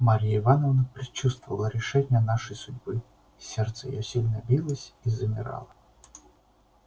марья ивановна предчувствовала решение нашей судьбы сердце её сильно билось и замирало